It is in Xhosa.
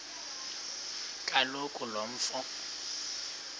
kaloku lo mfo